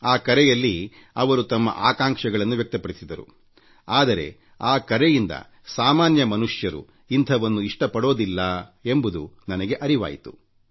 ಆ ಕರೆ ಮಾಡಿದವರು ತಮ್ಮ ಆಕಾಂಕ್ಷೆಗಳನ್ನು ಹೀಗೆ ವ್ಯಕ್ತಪಡಿಸಿದರು ಆದರೆ ಆ ಕರೆಯಿಂದಸಾಮಾನ್ಯ ಮನುಷ್ಯರು ಇಂಥದ್ದನ್ನೆಲ್ಲಾ ಇಷ್ಟಪಡೋದಿಲ್ಲ ಎಂಬುದು ನನಗೆ ವೇದ್ಯವಾಯಿತು